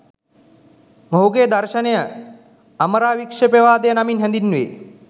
මොහුගේ දර්ශනය අමරාවික්ෂේපවාදය නමින් හැඳින්වේ.